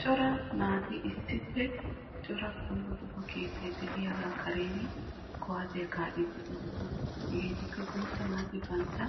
Cora naati cora keetta karen kuwasiya kaa'dde bantta